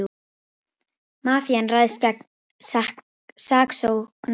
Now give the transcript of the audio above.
Mafían ræðst gegn saksóknara